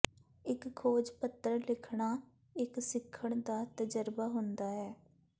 ਇੱਕ ਖੋਜ ਪੱਤਰ ਲਿਖਣਾ ਇੱਕ ਸਿੱਖਣ ਦਾ ਤਜਰਬਾ ਹੁੰਦਾ ਹੈ